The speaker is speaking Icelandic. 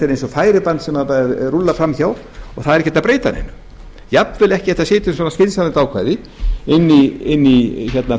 eins og færiband sem rúllar fram hjá og það er ekki hægt að breyta neinu jafnvel ekki hægt að setja inn svona skynsamlegt ákvæði inn í